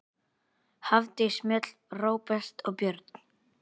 Hafdís Mjöll, Róbert og börn.